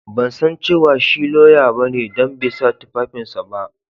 Ban san cewa shi lauya ba ne dan bai sa tufafin su ba.